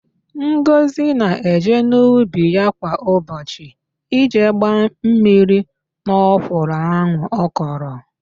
Ngọzị na-eje n'ubi ya kwa ụbọchị ije gbaa mmiri n'ọkwụrụ ahụ ọ kọrọ.